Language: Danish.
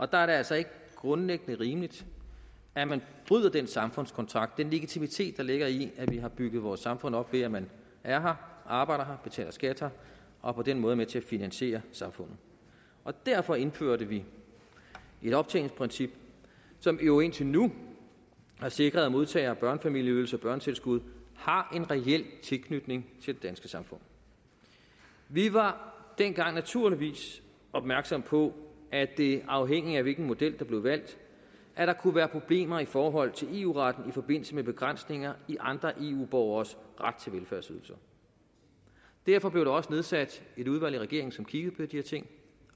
der er det altså ikke grundlæggende rimeligt at man bryder den samfundskontrakt den legitimitet der ligger i at vi har bygget vores samfund op ved at man er her arbejder her betaler skat her og på den måde er med til at finansiere samfundet derfor indførte vi et optjeningsprincip som jo indtil nu har sikret at modtagere af børnefamilieydelser og børnetilskud har en reel tilknytning til det danske samfund vi var dengang naturligvis opmærksom på at der afhængigt af hvilken model der blev valgt kunne være problemer i forhold til eu retten i forbindelse med begrænsninger i andre eu borgeres ret til velfærdsydelser derfor blev der også nedsat et udvalg i regeringen som kiggede på de her ting